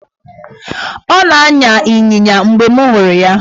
Ọ na-anya ịnyịnya mgbe m hụrụ ya.